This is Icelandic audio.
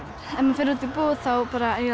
ef maður fer út í búð þá